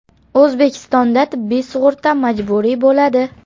O‘zbekistonda tibbiy sug‘urta majburiy bo‘ladi.